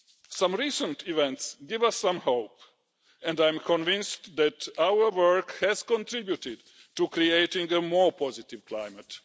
Some recent events give us some hope and I am convinced that our work has contributed to creating a more positive climate.